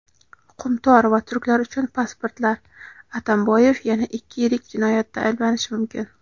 "Qumtor" va turklar uchun pasportlar — Atamboyev yana ikki yirik jinoyatda ayblanishi mumkin.